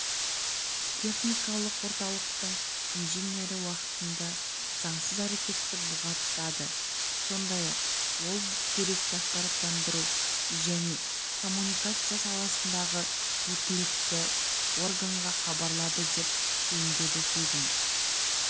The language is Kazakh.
техникалық орталықтың инженері уақытынды заңсыз әрекетті бұғаттады сондай-ақ ол бұл деректі ақпараттандыру және коммуникация саласындағы өкілетті органга хабарлады деп түйіндеді сөзін